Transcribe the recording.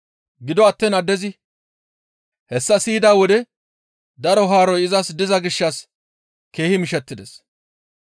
Gido attiin addezi hessa siyida wode daro haaroy izas diza gishshas keehi mishettides.